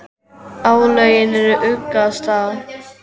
álögin úr ugga stað